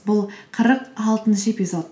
бұл қырық алтыншы эпизод